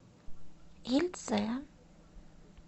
ельце